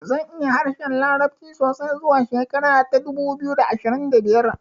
Zan iya harshen larabci sosai zuwa shekara ta dubu biyu da ashirin da biyar